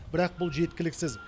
бірақ бұл жеткіліксіз